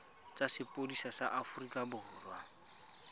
tsa sepodisi sa aforika borwa